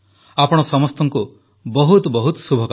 ଆପଣ ସମସ୍ତଙ୍କୁ ବହୁତ ବହୁତ ଶୁଭକାମନା